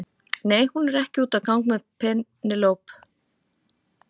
Nei, hún er ekki úti að gang með Penélope.